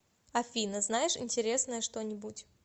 афина знаешь интересное что нибудь